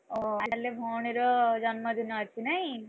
ଓ ତାହେଲେ ଭଉଣୀ ର ଜନ୍ମଦିନ ଅଛି ନାଇଁ?